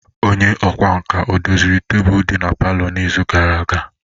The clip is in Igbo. Onye ọkwá nkà odoziri tebụl di na palọ n'izu gara aga?